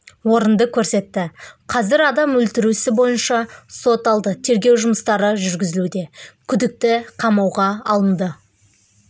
орынды көрсетті қазір адам өлтіру ісі бойынша сот алды тергеу жұмыстары жүргізілуде күдікті қамауға алынды